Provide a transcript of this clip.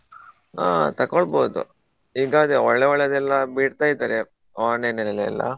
ಹಾ ತಕೋಳ್ಬೋದು ಈಗ ಅದೇ ಒಳ್ಳೆ ಒಳ್ಳೆದೆಲ್ಲ ಬಿಡ್ತಾ ಇದ್ದಾರೆ online ಅಲ್ಲಿ ಎಲ್ಲಾ.